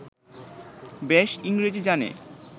বেশ ইংরেজী জানে